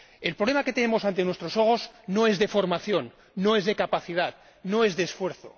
El problema que tenemos ante nuestros ojos no es de formación, no es de capacidad, no es de esfuerzo.